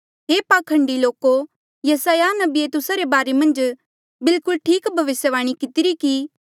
हे पाखंडी लोको यसायाह नबिये तुस्सा रे बारे मन्झ बिलकुल ठीक भविस्यवाणी कितिरी कि